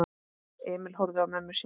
Emil horfði á mömmu sína.